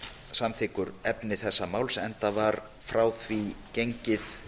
samþykkur efni þessa máls enda var frá því gengið